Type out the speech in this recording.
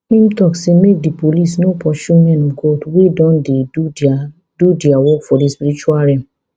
im tok say make di police no pursue men of god wey don dey do dia do dia work for di spiritual realm